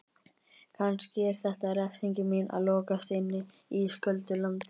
Kannski er þetta refsingin mín: Að lokast inni í ísköldu landi.